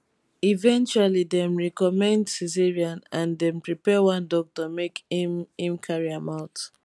eventually dem recommend caesarean and dem prepare one doctor make im im carry am out